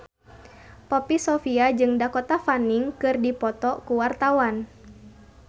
Poppy Sovia jeung Dakota Fanning keur dipoto ku wartawan